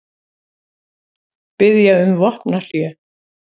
Biðja um vopnahlé